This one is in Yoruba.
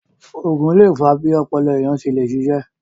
Ògùn lè fa bí ọpọlọ ènìyàn ṣe le ṣiṣé